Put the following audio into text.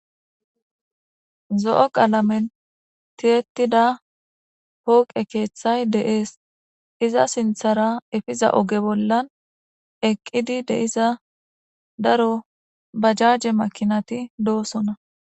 zo7o qaalametetida pooqe keeththay deees iza sinthara efiza oge bollan eqqidi de7iza daro bajjaje makinati doosona